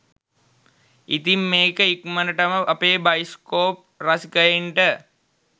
ඉතින් මේක ඉක්මනටම අපේ බයිස්කෝප් රසිකයින්ට